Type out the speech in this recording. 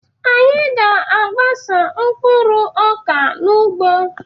Anyị ga-agbasa mkpụrụ ọka n'ugbo.